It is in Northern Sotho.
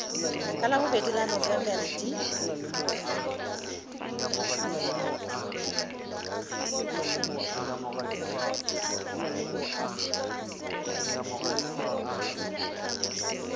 ka labobedi la nofemere di